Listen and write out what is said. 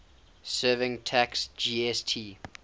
services tax gst